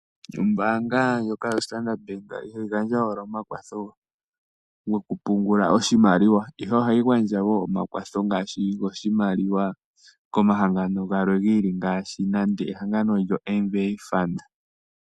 Ombaanga ndjoka yoStandard bank ihayi gandja owala omakwatho gokupungula oshimaliwa, ihe ohayi vulu oku gandja omakwatho gamwe goshimaliwa komahangano galwe giili ngaashi oMVA fund.